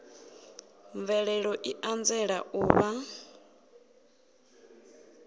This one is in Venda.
mvelelo i anzela u vha